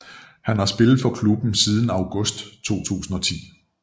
Han har spillet for klubben siden august 2010